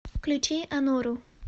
включи анору